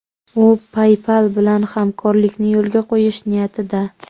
U PayPal bilan hamkorlikni yo‘lga qo‘yish niyatida.